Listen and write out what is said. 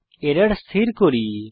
error স্থির করি